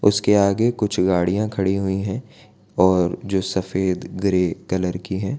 उसके आगे कुछ गाड़ियां खड़ी हुई है और जो सफेद ग्रे कलर की है।